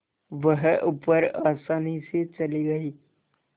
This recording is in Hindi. वह ऊपर आसानी से चली गई